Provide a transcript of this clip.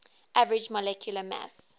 average molecular mass